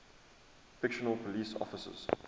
fictional police officers